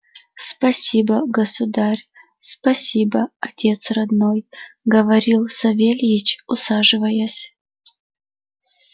спасибо государь спасибо отец родной говорил савельич усаживаясь